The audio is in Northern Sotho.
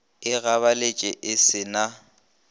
e gabaletše e se na